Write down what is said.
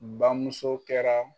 Bamuso kɛra.